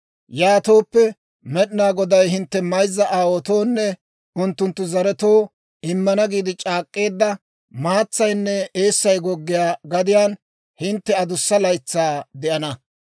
Yaatooppe, Med'inaa Goday hintte mayzza aawaatoonne unttunttu zaretoo immana giide c'aak'k'eedda, maatsaynne eessay goggiyaa gadiyaan hintte adussa laytsaa de'ana.